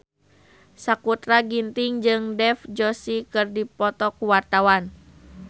Sakutra Ginting jeung Dev Joshi keur dipoto ku wartawan